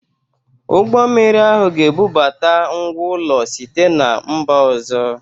Ụgbọ mmiri ahụ ga-ebubata ngwá ụlọ site na mba ọzọ.